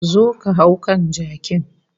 Zo ka hau kan jakin